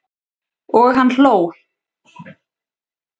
Og hann hló.